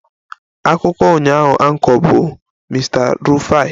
Akụkọ ụnyaahụ Anchor bụ Mr Rufai